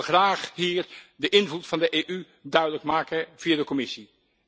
Ik wil graag hier de invloed van de EU duidelijk maken via de Commissie.